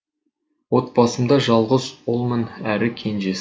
отбасымда жалғыз ұлмын әрі кенжесі